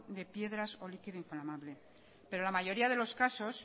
de piedras o de líquido inflamabel pero la mayoría de los casos